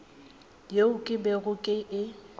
yeo ke bego ke e